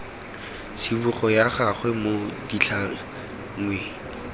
tsibogo ya gagwe mo ditlhangweng